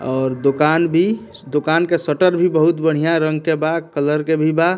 और दुकान भी दुकान के शटर भी बहुत बढ़िया रंग के बा कलर के भी बा।